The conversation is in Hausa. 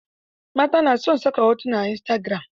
Mata na son saka hotuna a Istagiram.